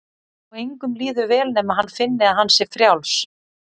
Og engum líður vel nema hann finni að hann sé frjáls.